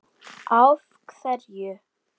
Á hverju?